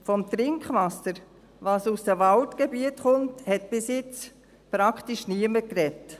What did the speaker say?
Vom Trinkwasser, das aus den Waldgebieten kommt, hat bis jetzt praktisch niemand gesprochen.